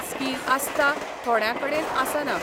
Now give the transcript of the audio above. Skill आसता, थोड्यां कडेन आसना.